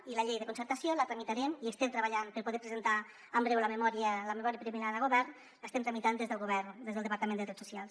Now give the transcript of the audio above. i la llei de concertació que hi estem treballant per poder presentar en breu la memòria preliminar al govern l’estem tramitant des del departament de drets socials